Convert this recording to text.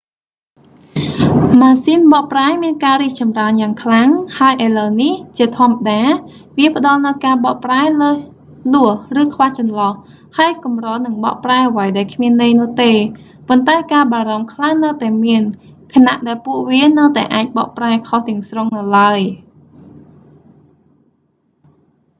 ម៉ាស៊ីនបកប្រែមានការរីកចំរើនយ៉ាងខ្លាំង ហើយឥឡូវនេះ ជាធម្មតា វាផ្តល់នូវការបកប្រែលើសលោះឬខ្វះចន្លោះ ហើយកម្រនឹងបកប្រែអ្វីដែលគ្មានន័យនោះទេ ប៉ុន្តែការបារម្ភខ្លះនៅតែមាន ខណៈដែលពួកវានៅតែអាចបកប្រែខុសទាំងស្រុងនៅឡើយ